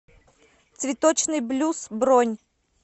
цветочный блюз бронь